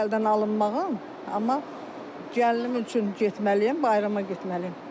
İrəlidən alınmağım, amma gəlinim üçün getməliyəm, bayrama getməliyəm.